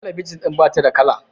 talabijin din ba ta da kala